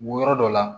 Wɔrɔ dɔ la